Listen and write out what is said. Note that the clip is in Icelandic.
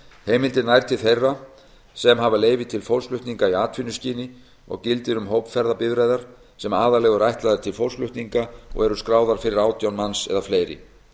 heimildin nær til þeirra sem hafa leyfi til fólksflutninga í atvinnuskyni og gildir um hópferðabifreiðar sem aðallega eru ætlaðar til fólksflutninga og eru skráðar fyrir átján manns eða fleiri